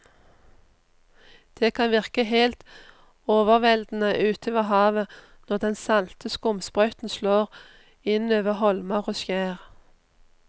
Det kan virke helt overveldende ute ved havet når den salte skumsprøyten slår innover holmer og skjær.